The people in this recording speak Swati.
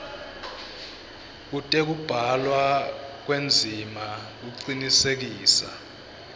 tekubhalwa kwendzima kucinisekisa